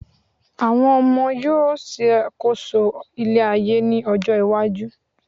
àwọn ọmọ yíò ṣàkóso ile ayé ni ọjọ iwaju